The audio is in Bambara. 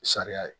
Sariya ye